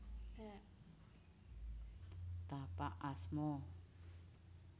Tapak asma